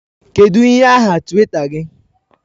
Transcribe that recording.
Kedu ihe aha Twitter gị?